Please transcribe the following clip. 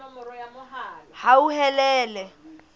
hauhelele